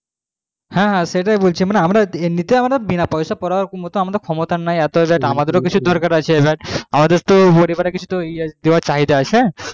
হ্যাঁ হ্যাঁ সেটাই বলছি মানে আমরা বিনা পয়সার পড়ার ক্ষমতা নাই এবার আমাদের কিছু দরকার আছে আমাদের তো কিছু চাহিদা আছে